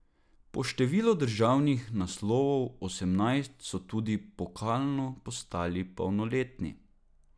Po številu državnih naslovov, osemnajst, so tudi pokalno postali polnoletni.